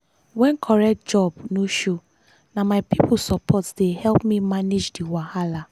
when correct job no show na my people support dey help me manage the wahala.